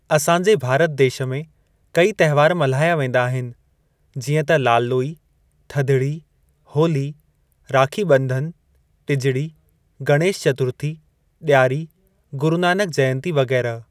असां जे भारत देश में कई तहिवार मल्हाया वेंदा आहिनि जीअं त लाल लोई थधड़ी होली राखीबं॒धन टिजड़ी गणेश चतुर्थी डि॒यारी गुरु नानक जयंती वग़ैरह।